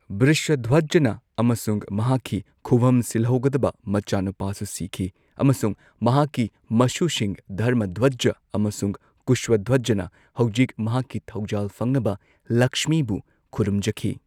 ꯕ꯭ꯔꯤꯁꯥꯙ꯭ꯋꯖꯥꯅ ꯑꯃꯁꯨꯡ ꯃꯍꯥꯛꯀꯤ ꯈꯨꯚꯝ ꯁꯤꯜꯍꯧꯒꯗꯕ ꯃꯆꯥꯅꯨꯄꯥꯁꯨ ꯁꯤꯈꯤ ꯑꯃꯁꯨꯡ ꯃꯍꯥꯛꯀꯤ ꯃꯁꯨꯁꯤꯡ ꯙꯔꯃꯙ꯭ꯋꯖꯥ ꯑꯃꯁꯨꯡ ꯀꯨꯁꯥꯙ꯭ꯋꯖꯥꯅ ꯍꯧꯖꯤꯛ ꯃꯍꯥꯛꯀꯤ ꯊꯧꯖꯥꯜ ꯐꯪꯅꯕ ꯂꯛꯁꯃꯤꯕꯨ ꯈꯨꯔꯨꯝꯖꯈꯤ꯫